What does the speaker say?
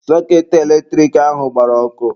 Sọketị eletrik ahụ agbara ọkụ.